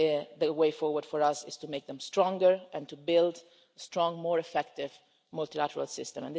The way forward for us is to make them stronger and to build a strong, more effective multilateral system.